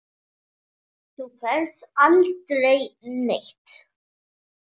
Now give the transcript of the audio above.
Þú ferð aldrei neitt.